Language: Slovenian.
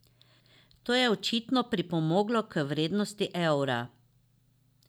To je očitno pripomoglo k vrednosti evra.